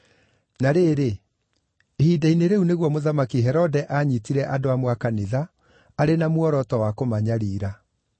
Na rĩrĩ, ihinda-inĩ rĩu nĩguo Mũthamaki Herode aanyiitire andũ amwe a kanitha, arĩ na muoroto wa kũmanyariira.